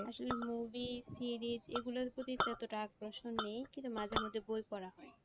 আসলে movie series এগুলোর প্রতি এতটা আকর্ষণ নেই কিন্তু মাঝে মধ্যে বই পড়া হয়।